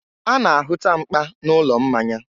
a na-ahụta mkpa n'ụlọ mmanya.